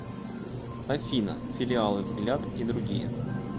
афина филиалы взгляд и другие